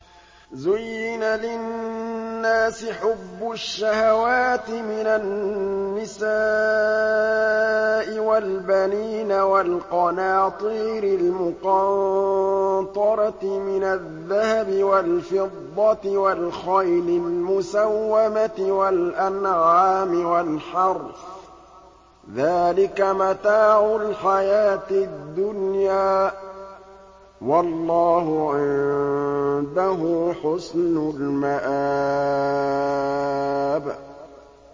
زُيِّنَ لِلنَّاسِ حُبُّ الشَّهَوَاتِ مِنَ النِّسَاءِ وَالْبَنِينَ وَالْقَنَاطِيرِ الْمُقَنطَرَةِ مِنَ الذَّهَبِ وَالْفِضَّةِ وَالْخَيْلِ الْمُسَوَّمَةِ وَالْأَنْعَامِ وَالْحَرْثِ ۗ ذَٰلِكَ مَتَاعُ الْحَيَاةِ الدُّنْيَا ۖ وَاللَّهُ عِندَهُ حُسْنُ الْمَآبِ